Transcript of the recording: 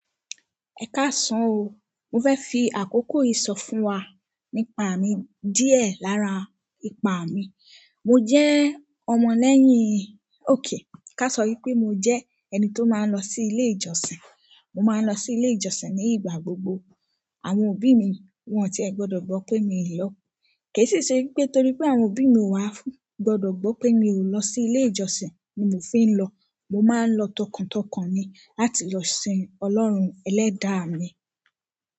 Ẹ ká san o. Mo fẹ́ fi àkókò yìí sọ fún wa nípa mi díẹ̀ lára ìpa mi. Mo jẹ́ ọmọ lẹ́yìn òkè. Ká sọ wi pé mo jẹ́ ẹni tó máa ń lọ sí ilé ìjọsìn. Mo máa ń lọ sí ilé ìjọsìn ní ìgbà gbogbo. Àwọn òbí mi wọ́n ti gbọ́dọ̀ gbọ́ pé mi ò lọ. Kì í sì ṣe wípé torí pé àwọn òbí mi ò wá gbọ́dọ̀ gbọ́ pé mi ò lọ sí ilé ìjọsìn ni mo fi ń lọ. Mo máa ń lọ tọkàntọkàn ni láti lọ sìn Ọlọ́run Ẹlẹ́dàá mi.